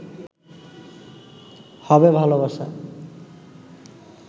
হবে ভালোবাসা